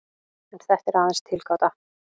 En þetta er aðeins tilgáta.